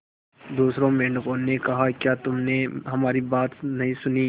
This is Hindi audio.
दूसरे मेंढकों ने कहा क्या तुमने हमारी बात नहीं सुनी